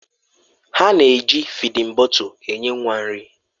Ha na-eji fịdin bọtul enye nwa nri.